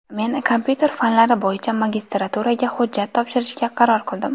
Men kompyuter fanlari bo‘yicha magistraturaga hujjat topshirishga qaror qildim.